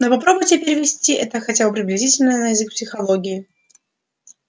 но попробуйте перевести это хотя бы приблизительно на язык психологии